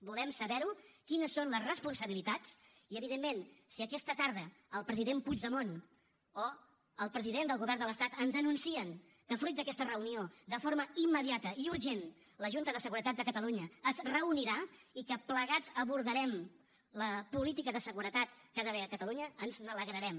volem saberho quines són les responsabilitats i evidentment si aquesta tarda el president puigdemont o el president del govern de l’estat ens anuncien que fruit d’aquesta reunió de forma immediata i urgent la junta de seguretat de catalunya es reunirà i que plegats abordarem la política de seguretat que hi ha d’haver a catalunya ens n’alegrarem